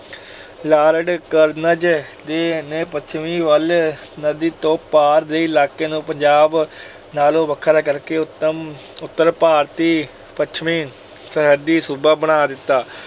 Lord Curzon ਨੇ ਪੱਛਮੀ ਵੱਲ ਨਦੀ ਤੋਂ ਪਾਰ ਦੇ ਇਲਾਕੇ ਨੂੰ ਪੰਜਾਬ ਨਾਲੋਂ ਵੱਖਰਾ ਕਰਕੇ ਉਤਮ ਅਹ ਉਤਰ ਭਾਰਤੀ ਪੱਛਮੀ ਸਰਹੱਦੀ ਸੂਬਾ ਬਣਾ ਦਿੱਤਾ।